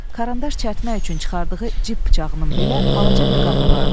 Karandaş çərtmək üçün çıxardığı cib bıçağının belə balaca bir qabı vardı.